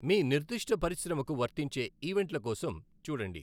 మీ నిర్దిష్ట పరిశ్రమకు వర్తించే ఈవెంట్ల కోసం చూడండి.